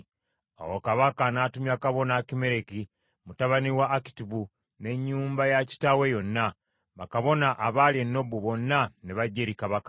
Awo kabaka n’atumya kabona Akimereki mutabani wa Akitubu n’ennyumba ya kitaawe yonna, bakabona abaali e Nobu, bonna ne bajja eri kabaka.